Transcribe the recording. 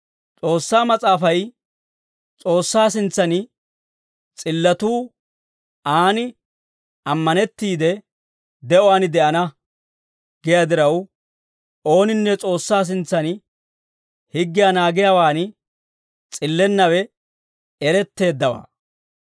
S'oossaa Mas'aafay, «S'oossaa sintsaan s'illatuu aan ammanettiide de'uwaan de'ana» giyaa diraw, ooninne S'oossaa sintsan higgiyaa naagiyaawaan s'illennawe eretteeddawaa.